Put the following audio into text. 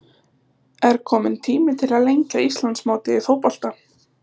Er kominn tími til að lengja Íslandsmótið í fótbolta?